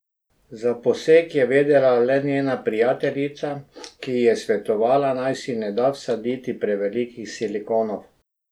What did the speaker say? Za poseg je vedela le ena njena prijateljica, ki ji je svetovala, naj si ne da vsaditi prevelikih silikonov.